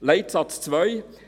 Leitsatz 2: